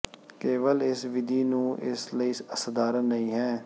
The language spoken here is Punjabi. ਕੇਵਲ ਇਸ ਵਿਧੀ ਨੂੰ ਇਸ ਲਈ ਸਧਾਰਨ ਨਹੀ ਹੈ